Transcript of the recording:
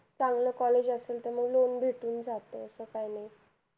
चांगलं college असेल तर मग loan भेटून जातं असं काय नाही.